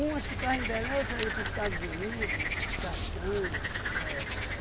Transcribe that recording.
ficavam em Belém, outras ia para o Estados Unido, castanha. É,